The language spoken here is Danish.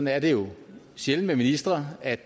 er det jo sjældent med ministre at